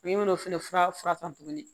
N ye n'o fɛnɛ furafura san tuguni